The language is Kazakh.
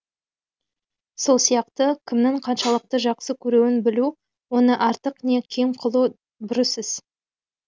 сол сияқты кімнің қаншалықты жақсы көруін білу оны артық не кем қылу бұрыс іс